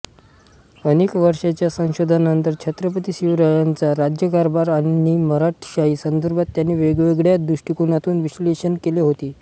अनेक वर्षांच्या संशोधनानंतर छ्त्रपती शिवरायांचा राज्यकारभार आणि मराठेशाही संदर्भात त्यांनी वेगळ्या दृष्टिकोनातून विश्लेषण केले होते